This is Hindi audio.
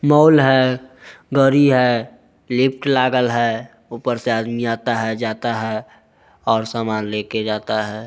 मॉल है गाड़ी है लिफ्ट लगल है ऊपर से आदमी आता है जाता है और समान लेके जाता है।